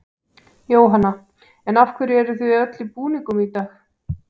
Jóhanna: En af hverju eruð þið öll í búningum í dag?